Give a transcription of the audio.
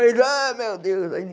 Ele ai, meu Deus. Aí